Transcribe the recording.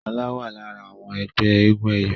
Shola wá lára àwọn ẹgbẹ́ éégun eyọ.